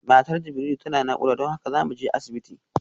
Matar Jibrilu tana nakuda don haka zamuje asibiti